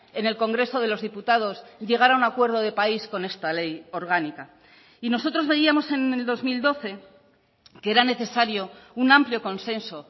en el congreso de los diputados llegar a un acuerdo de país con esta ley orgánica y nosotros veíamos en el dos mil doce que era necesario un amplio consenso